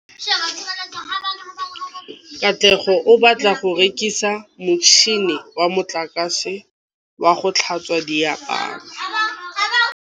Katlego o batla go reka motšhine wa motlakase wa go tlhatswa diaparo.